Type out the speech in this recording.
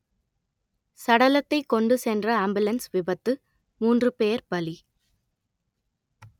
சடலத்தை கொண்டு சென்ற ஆம்புலன்ஸ் விபத்து மூன்று பேர் பலி